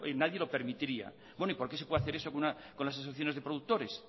nadie lo permitiría bueno y por qué se puede hacer eso con las asociaciones de productores